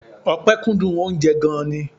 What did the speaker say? Ọpẹ kúndùn oúnjẹ gan-an ni.